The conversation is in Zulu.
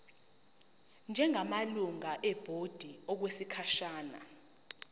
njengamalungu ebhodi okwesikhashana